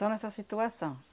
Só nessa situação.